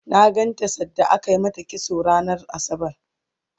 na ganta sanda ake mata kitso ranar asabar